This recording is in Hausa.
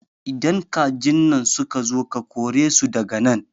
Idan kajin nan suka zo ka kore su daga nan